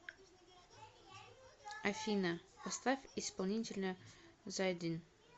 афина поставь исполнителя зайдин